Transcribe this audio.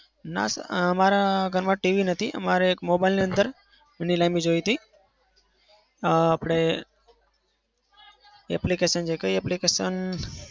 ના. અમારા ઘરમાં TV નથી. અમારે એક mobile નો અંદર નીલામી જોઈ હતી. અમ આપડે application છે. કઈ application